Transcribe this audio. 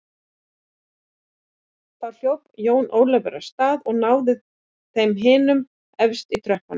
Þá hljóp Jón Ólafur af stað og náði þeim hinum efst í tröppunum.